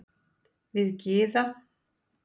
Við Gyða